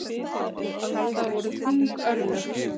Það voru þung örlög.